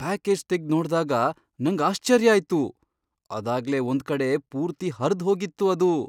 Package ತೆಗ್ದ್ ನೋಡ್ದಾಗ ನಂಗ್ ಆಶ್ಚರ್ಯ ಆಯ್ತು, ಅದಾಗ್ಲೇ ಒಂದ್ಕಡೆ ಪೂರ್ತಿ ಹರ್ದ್ ಹೋಗಿತ್ತು ಅದು!